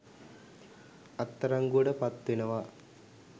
අත්අඩංගුවට පත් වෙනවා